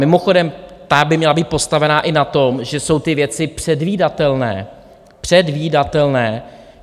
Mimochodem, ta by měla být postavená i na tom, že jsou ty věci předvídatelné, předvídatelné!